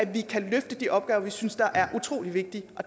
vi kan løfte de opgaver vi synes er utrolig vigtige og